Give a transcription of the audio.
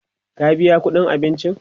ka biya ƙuɗin abincin!